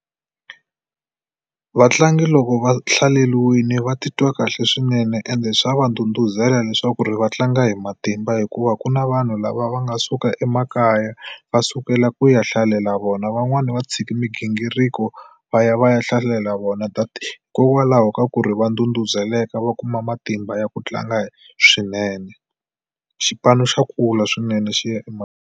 Vatlangi loko va hlaleriwile va titwa kahle swinene ende swa va ndhudhuzela leswaku ri va tlanga hi matimba hikuva ku na vanhu lava va nga suka emakaya va sukela ku ya hlalela vona. Van'wani va tshiki migingiriko va ya va ya hlalela vona hikokwalaho ka ku ri va ndhudhuzeleka va kuma matimba ya ku tlanga swinene. Xipano xa kula swinene xi ya .